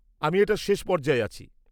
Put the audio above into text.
আমি এটার শেষ পর্যায়ে আছি।